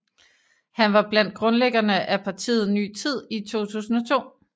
Han var blandt grundlæggerne af partiet Ny Tid i 2002